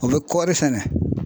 O bɛ kɔɔri sɛnɛ